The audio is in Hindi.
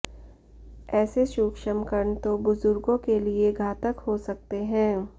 ऐसे सूक्ष्म कण तो बुजुर्गों के लिए घातक हो सकते हैं